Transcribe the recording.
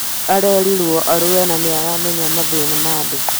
Arereirwo Arua na nĩaramenya mathĩna ma andũ